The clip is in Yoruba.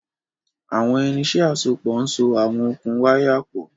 Àwọn irinṣẹ́ àsopọ̀ ń so àwọn okùn wáyà pọ̀